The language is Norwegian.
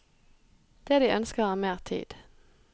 Det de ønsker er mer tid.